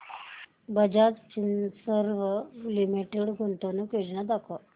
Bajaj Finserv limited गुंतवणूक योजना दाखव